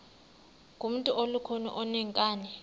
ngumntu olukhuni oneenkani